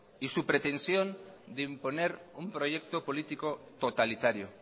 y su pretensión de imponer un proyecto político totalitario